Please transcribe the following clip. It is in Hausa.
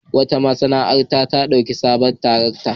Wata masana'anta ta ɗauki wani sabon darakta.